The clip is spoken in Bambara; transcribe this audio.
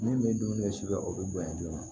Min bɛ dumuni kɛ siga o bɛ bonya joona